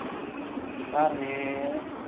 अर